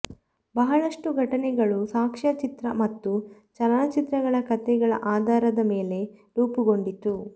ಬಹಳಷ್ಟು ಘಟನೆಗಳು ಸಾಕ್ಷ್ಯಚಿತ್ರ ಮತ್ತು ಚಲನಚಿತ್ರಗಳ ಕಥೆಗಳ ಆಧಾರದ ಮೇಲೆ ರೂಪುಗೊಂಡಿತು